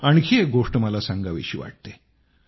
आणखी एक गोष्ट मला सांगावीशी वाटते